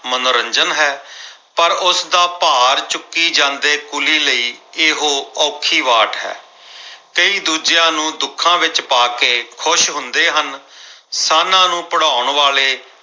ਮਨੋਰੰਜਨ ਹੈ ਪਰ ਉਸਦਾ ਭਾਰ ਚੁੱਕੀ ਜਾਂਦੇ ਕੁਲੀ ਲਈ ਇਹੋ ਔਖੀ ਵਾਟ ਹੈ। ਕਈ ਦੂਜਿਆਂ ਨੂੰ ਦੁੱਖਾਂ ਵਿੱਚ ਪਾ ਕੇ ਖੁਸ਼ ਹੁੰਦੇ ਹਨ। ਸਾਨ੍ਹਾਂ ਨੂੰ ਭਿੜਾਉਣ ਵਾਲੇ